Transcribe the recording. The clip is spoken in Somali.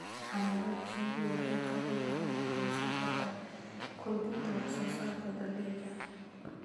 Xannaanada shinnidu waxay kaloo gacan ka geysan kartaa kordhinta wax soo saarka dalagga